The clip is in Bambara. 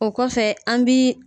O kɔfɛ an bi